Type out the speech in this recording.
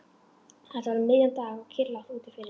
Þetta var um miðjan dag og kyrrlátt úti fyrir.